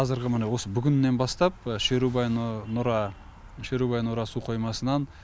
қазіргі міне осы бүгіннен бастап шерубай нұра су қоймасынан